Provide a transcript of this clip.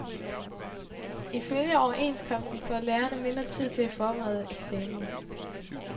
Ifølge overenskomsten får lærerne mindre tid til at forberede eksamen.